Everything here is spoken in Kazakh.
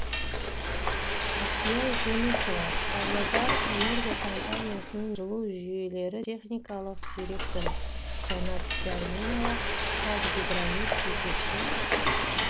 әсия жүнісова павлодарэнерго компаниясының өкілі талғат қайыркенов өскемен жылу жүйелері техникалық директоры жанат жәрменова қазгидромет жетекші